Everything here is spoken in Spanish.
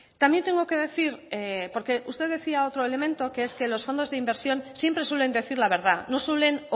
también tengo que decir porque usted decía otro elemento que es que los fondos de inversión siempre suelen decir la verdad no suelen